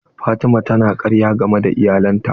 Fatima ta na karya game da iyalin ta.